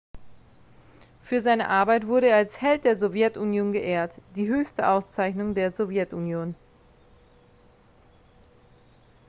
für seine arbeit wurde er als held der sowjetunion geehrt die höchste auszeichnung der sowjetunion